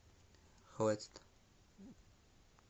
хватит